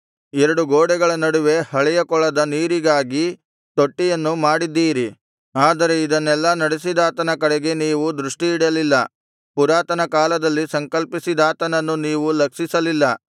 ಎರಡು ಗೋಡೆಗಳ ನಡುವೆ ಹಳೆಯ ಕೊಳದ ನೀರಿಗಾಗಿ ತೊಟ್ಟಿಯನ್ನು ಮಾಡಿದ್ದೀರಿ ಆದರೆ ಇದನ್ನೆಲ್ಲಾ ನಡೆಸಿದಾತನ ಕಡೆಗೆ ನೀವು ದೃಷ್ಟಿಯಿಡಲಿಲ್ಲ ಪುರಾತನ ಕಾಲದಲ್ಲಿ ಸಂಕಲ್ಪಿಸಿದಾತನನ್ನು ನೀವು ಲಕ್ಷಿಸಲಿಲ್ಲ